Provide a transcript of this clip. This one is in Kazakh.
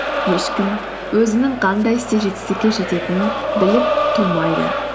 ешкім өзінің қандай істе жетістікке жететінін біліп тумайды